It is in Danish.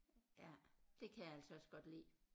Ja det kan jeg altså også godt lide